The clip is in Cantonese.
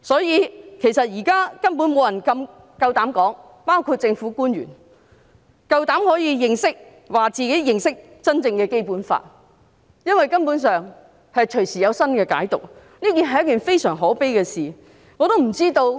現在根本沒有人——包括政府官員——夠膽說認識真正的《基本法》，因為動輒會有新的解讀，這是一件非常可悲的事情。